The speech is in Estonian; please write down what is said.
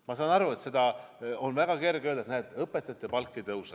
Ma saan aru, et seda on väga kerge öelda, et õpetajate palk ei tõuse.